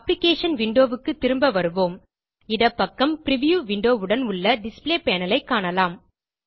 application windowக்கு திரும்ப வருவோம் இடப்பக்கம் பிரிவ்யூ விண்டோ உடன் உள்ள டிஸ்ப்ளே பேனல் ஐ காண்க